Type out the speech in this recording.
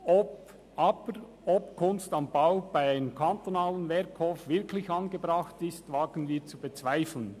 Aber ob «Kunst am Bau» bei einem kantonalen Werkhof wirklich angebracht ist, wagen wir zu bezweifeln.